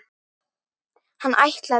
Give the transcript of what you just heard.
Hann ætlaði.